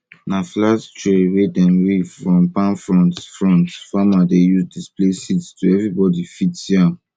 na flat tray wey dem weave from palm fronds fronds farmers dey use display seeds so everybody fit see am well